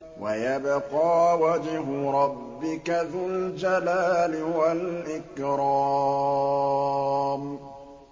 وَيَبْقَىٰ وَجْهُ رَبِّكَ ذُو الْجَلَالِ وَالْإِكْرَامِ